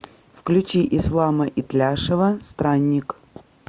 включи ислама итляшева странник